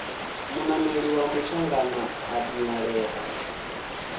munameli wa mutshangana a dinalea